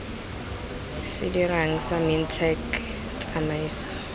se dirang sa mintech tsamaiso